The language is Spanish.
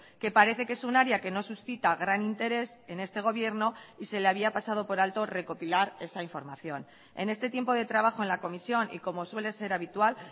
que parece que es un área que no suscita gran interés en este gobierno y se le había pasado por alto recopilar esa información en este tiempo de trabajo en la comisión y como suele ser habitual